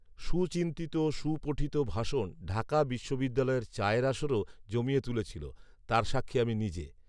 সুচিন্তিত, সুপঠিত ভাষণ ঢাকা বিশ্ববিদ্যালয়ের চায়ের আসর ও জমিয়ে তুলেছিল, তার সাক্ষী আমি নিজে